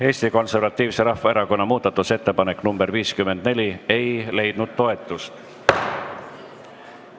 Eesti Konservatiivse Rahvaerakonna muudatusettepanek nr 54 ei leidnud toetust.